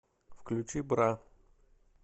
включи бра